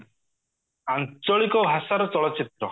ଆଞ୍ଚଳିକ ଭାଷାର ଚଳଚିତ୍ର